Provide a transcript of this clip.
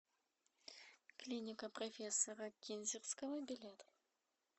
клиника профессора кинзерского билет